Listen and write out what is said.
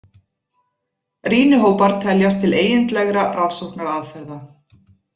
Rýnihópar teljast til eigindlegra rannsóknaraðferða.